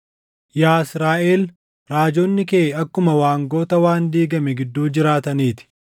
Yaa Israaʼel, raajonni kee akkuma waangota waan diigame gidduu jiraatanii ti.